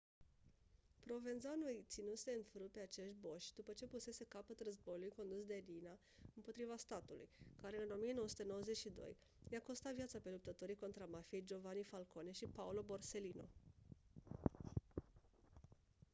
provenzano îi ținuse în frâu pe acești boși după ce pusese capăt războiului condus de riina împotriva statului care în 1992 i-a costat viața pe luptătorii contra mafiei giovanni falcone și paolo borsellino